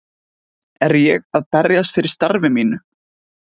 Er ég að berjast fyrir starfi mínu?